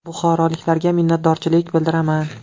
Buxoroliklarga minnatdorchilik bildiraman.